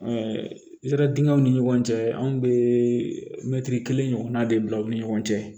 zɛridingɛw ni ɲɔgɔn cɛ anw bɛ mɛtiri kelen ɲɔgɔnna de bila u ni ɲɔgɔn cɛ